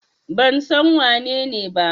Ban san wanene ba.